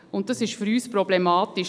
Und das ist für uns problematisch.